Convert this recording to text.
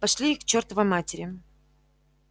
пошли их к чёртовой матери